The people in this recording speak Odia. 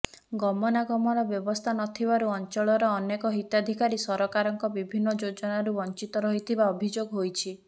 ଗମନାଗମନ ବ୍ୟବସ୍ଥା ନଥିବାରୁ ଅଞ୍ଚଳର ଅନେକ ହିତାଧିକାରୀ ସରକାରଙ୍କ ବିଭିନ୍ନ ଯୋଜନାରୁ ବଞ୍ଚିତ ରହିଥିବା ଅଭିଯୋଗ ହୋଇଛି